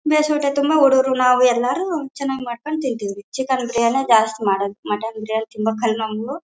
ತುಂಬಾ ಹುಡುಗ್ರು ನಾವು ಎಲ್ಲರೂ ಚೆನ್ನಾಗ್ ಮಾಡ್ಕೊಂಡ್ ತಿಂತೀವಿ ಚಿಕನ್ ಬಿರಿಯಾನಿ ಜಾಸ್ತಿ ಮಾಡೋದು ಮಟನ್ ಬಿರಿಯಾನಿ ತುಂಬಾ ಕಡ್ಮೆ ಮಾಡೋದು--